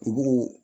Kugu